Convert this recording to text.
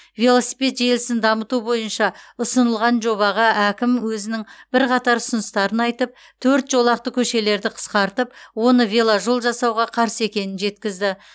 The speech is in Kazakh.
велосипед желісін дамыту бойынша ұсынылған жобаға әкім өзінің бірқатар ұсыныстарын айтып төрт жолақты көшелерді қысқартып оны веложол жасауға қарсы екенін жеткізді